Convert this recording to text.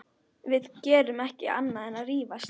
Við gerum ekki annað en að rífast.